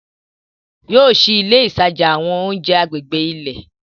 Yóò ṣìí ìlẹ̀ ìtajà àwọn ọ̀unjẹ̀ àgbègbè ilẹ̀.